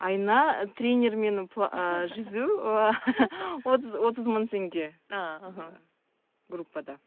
айына тренермен жүзу отыз отыз мың теңге а аха группада